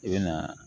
I bɛ na